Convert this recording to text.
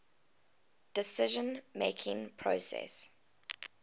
decision making process